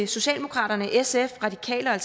socialdemokraterne sf radikale og